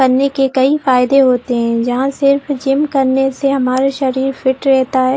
करने की कई फायदे होते है जहाँ सिर्फ जिम करने से हमारा शरीर फिट रहता है।